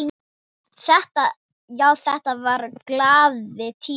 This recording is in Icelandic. Já, þetta voru glaðir tímar.